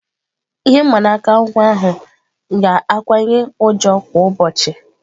Ihe mgbanaka nwa ahụ ga-akawanye njọ kwa ụbọchị.